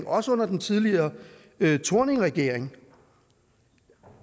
også under den tidligere thorningregering